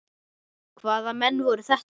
Hvaða menn voru þetta.